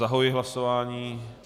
Zahajuji hlasování.